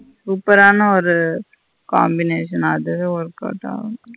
Super ஆன combination அதுவே workout ஆகல.